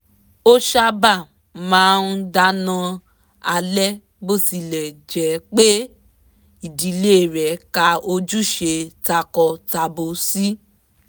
ò sábà máa ń dáná alẹ́ bótilẹ̀ jẹ́ pé ìdílé rẹ̀ ka ojúṣe tako-tabo sí